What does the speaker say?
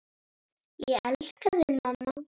Ég elska þig, mamma.